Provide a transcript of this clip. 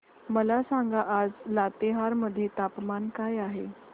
मला सांगा आज लातेहार मध्ये तापमान काय आहे